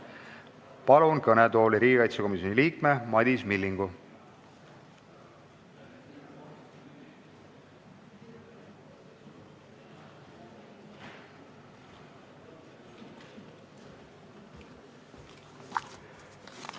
Palun kõnetooli riigikaitsekomisjoni liikme Madis Millingu!